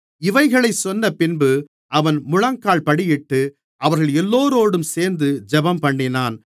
இவைகளைச் சொன்னபின்பு அவன் முழங்கால்படியிட்டு அவர்கள் எல்லோரோடும் சேர்ந்து ஜெபம்பண்ணினான்